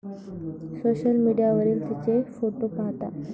Social मीडियावरील तिचे photo पाहता.